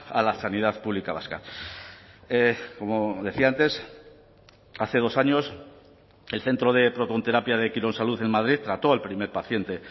a la sanidad pública vasca como decía antes hace dos años el centro de protonterapia de quirónsalud en madrid trató al primer paciente